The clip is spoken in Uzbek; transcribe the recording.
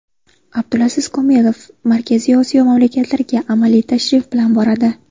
Abdulaziz Komilov Markaziy Osiyo mamlakatlariga amaliy tashrif bilan boradi.